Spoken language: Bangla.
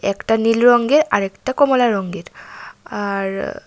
একটা নীল রঙের আরেকটা কমলা রঙের আর--